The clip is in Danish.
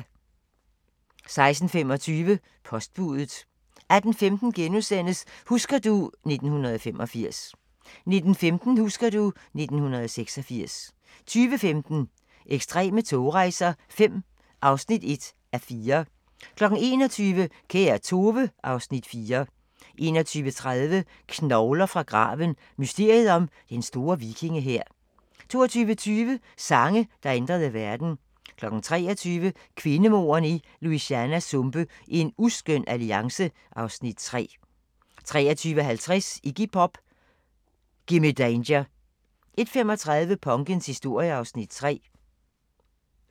16:25: Postbudet 18:15: Husker du ... 1985 * 19:15: Husker du ... 1986 20:15: Ekstreme togrejser V (1:4) 21:00: Kære Tove (Afs. 4) 21:30: Knogler fra graven – mysteriet om Den Store Vikingehær 22:20: Sange, der ændrede verden 23:00: Kvindemordene i Louisianas sumpe: En uskøn alliance (Afs. 3) 23:50: Iggy Pop: Gimme Danger 01:35: Punkens historie (Afs. 3)